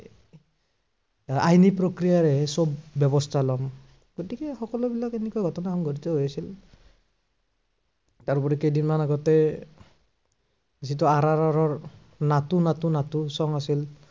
আহ আইনী প্ৰক্ৰিয়াৰেহে সৱ ব্য়ৱস্থা লম। গতিকে সকলো বিলাক এনেকুৱা ঘটনা সংঘটিত হৈ আছিল। তাৰোপৰি কেইদিনমান আগতে যিটো আৰ আৰ আৰৰ, নাটো নাটো song আছিল